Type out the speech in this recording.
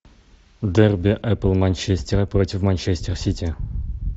дерби апл манчестера против манчестер сити